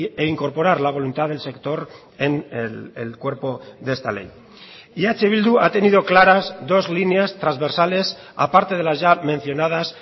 e incorporar la voluntad del sector en el cuerpo de esta ley y eh bildu ha tenido claras dos líneas transversales aparte de las ya mencionadas